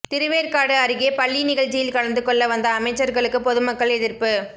திருவேற்காடு அருகே பள்ளி நிகழ்ச்சியில் கலந்துக்கொள்ள வந்த அமைச்சர்களுக்கு பொதுமக்கள் எதிர்ப்பு